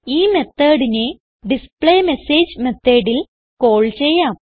ഈ methodനെ ഡിസ്പ്ലേമെസേജ് methodൽ കാൾ ചെയ്യാം